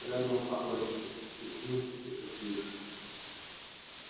с реддлом покончено и с ним и с василиском